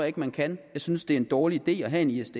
ikke man kan jeg synes det er en dårlig idé at have en isds